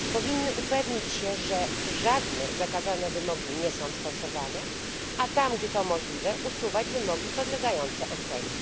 powinny upewnić się, że żadne zakazane wymogi nie są stosowane, a tam, gdzie to możliwe, usuwać wymogi podlegające ocenie.